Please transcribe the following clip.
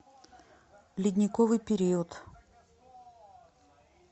ледниковый период